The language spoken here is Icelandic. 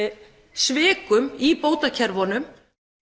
svikum í bótakerfunum